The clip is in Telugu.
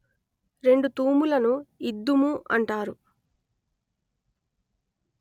రెండు తూములను ఇద్దుము అంటారు